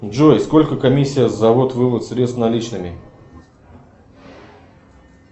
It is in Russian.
джой сколько комиссия за ввод вывод средств наличными